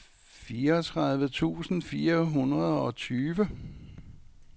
fireogtredive tusind fire hundrede og tyve